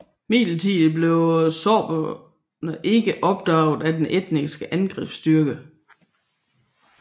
Imidlertid blev sorberne ikke opdaget af den estiske angrebsstyrke